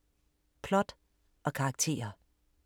Plot og karakterer